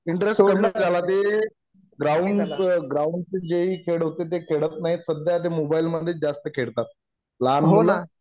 interest कळला त्याला ते ग्राउंड वर ग्राउंड चे जे ही खेळ होते ते खेळत नाहीयेत सद्ध्या ते मोबाईल मधे च जास्त खेळतात लहान मुलं